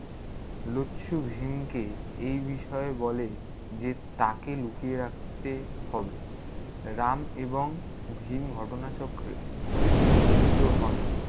লচ্ছু ভীমকে এই বিষয়ে বলে, যে তাকে লুকিয়ে রাখতে হবে। রাম এবং ভীম ঘটনাচক্রে মিলিত হন।